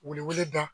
Welewele da